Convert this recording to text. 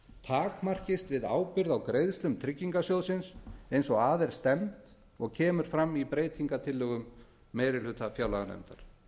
takmarkist við ábyrgð á greiðslum tryggingarsjóðsins eins og að er stefnt og kemur fram í breytingartillögum meiri hluta fjárlaganefndar